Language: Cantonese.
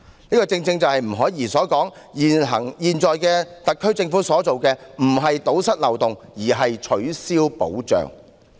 這正是吳靄儀所說，現時特區政府所做的不是堵塞漏洞，而是取消保障。